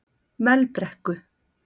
Melbrekku